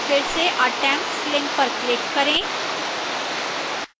फिर से attempts link पर click करें